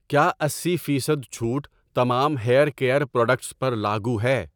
کیا اسی فیصد چھوٹ تمام ہیئر کیئر پروڈکٹس پر لاگو ہے؟